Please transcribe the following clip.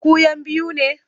Ku 'yan biyu ne?